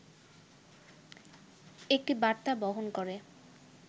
একটি বার্তা বহন করে